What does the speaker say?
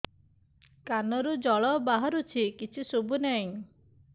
କାନରୁ ଜଳ ବାହାରୁଛି କିଛି ଶୁଭୁ ନାହିଁ